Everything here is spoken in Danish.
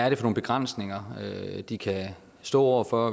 er for begrænsninger de kan stå over for